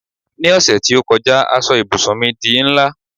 ni ọsẹ ti o kọjá a so ibùsùn mi di nla